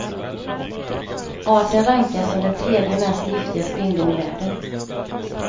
Arten rankas som den tredje mest giftiga spindeln i världen.